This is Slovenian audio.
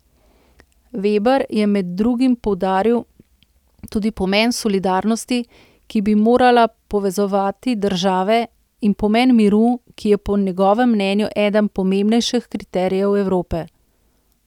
Veber je med drugim poudaril tudi pomen solidarnosti, ki bi morala povezovati države, in pomen miru, ki je po njegovem mnenju eden pomembnejših kriterijev Evrope.